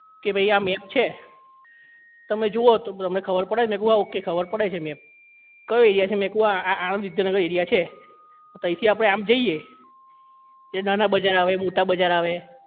કે ભાઈ આ map છે તમે જુઓ તો તમને ખબર પડે મેં કહ્યું હા okay ખબર પડે છે આ map કયો area છે આ મેં કીધું આ આણંદ વિદ્યાનગર area છે આ તો તઇ થી આપણે આમ જઈએ એ નાના બજાર આવે મોટા બજાર આવે